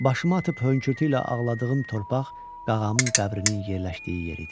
Başımı atıb hönkürtü ilə ağladığım torpaq qağamın qəbrinin yerləşdiyi yeri idi.